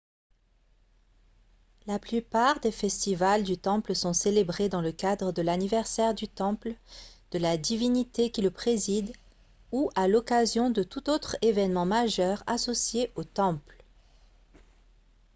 la plupart des festivals du temple sont célébrés dans le cadre de l'anniversaire du temple de la divinité qui le préside ou à l'occasion de tout autre événement majeur associé au temple